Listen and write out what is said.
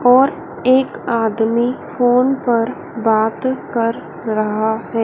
और एक आदमी फोन पर बात कर रहा है।